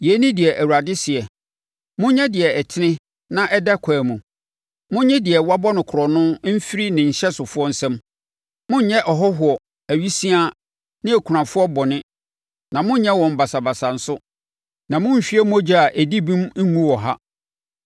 Yei ne deɛ Awurade seɛ: Monyɛ deɛ ɛtene na ɛda ɛkwan mu. Monnye deɛ wɔabɔ no korɔno mfiri ne hyɛsofoɔ nsam. Monnyɛ ɔhɔhoɔ, awisiaa ne okunafoɔ bɔne na monnyɛ wɔn basabasa nso, na monnhwie mogya a ɛdi bem ngu wɔ ha.